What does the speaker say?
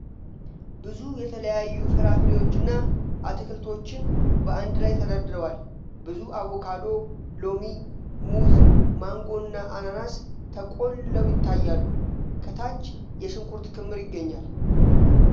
ብዙ የተለያዩ ፍራፍሬዎችንና አትክልቶችን በአንድላይ ተደርድረዋል ። ብዙ አቮካዶ፣ ሎሚ፣ ሙዝ፣ ማንጎ እና አናናስ ተቆልለው ይታያሉ። ከታች የሽንኩርት ክምር ይገኛል።